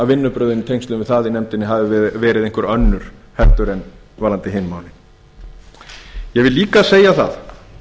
vinnubrögðin í tengslum við það í nefndinni hafi verið einhver önnur heldur en varðandi hin málin ég vil líka segja það